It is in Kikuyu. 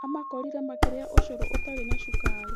Aamakorire makĩrĩa ũcũrũ ũtarĩ na cukari.